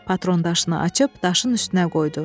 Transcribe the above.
Patron daşını açıb daşın üstünə qoydu.